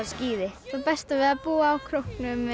skíði það besta við að búa á króknum